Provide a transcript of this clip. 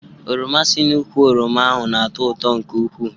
Oroma si n'úkwù oroma ahụ n'ato ụtọ nke ukwuu